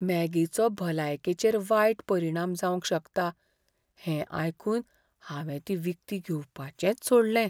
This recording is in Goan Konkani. मॅगीचो भलायकेचेर वायट परिणाम जावंक शकता हें आयकून हांवें ती विकती घेवपाचेंच सोडलें.